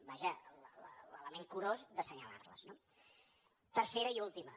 vaja l’element curós d’assenyalar les no tercera i última